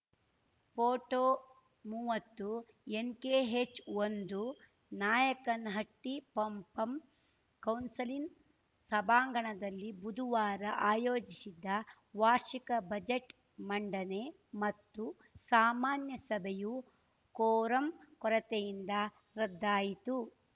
photo ಮೂವತ್ತುಎನ್‌ಕೆಎಚ್‌ಒಂದು ನಾಯಕನಹಟ್ಟಿಪಪಂ ಕೌನ್ಸಿಲಿನ್ ಸಭಾಂಗಣದಲ್ಲಿ ಬುದುವಾರ ಆಯೋಜಿಸಿದ್ದ ವಾರ್ಷಿಕ ಬಜೆಟ್‌ ಮಂಡನೆ ಮತ್ತು ಸಾಮಾನ್ಯ ಸಭೆಯು ಕೋರಂ ಕೊರತೆಯಿಂದ ರದ್ದಾಯಿತು